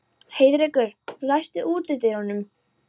Heiðrekur, læstu útidyrunum.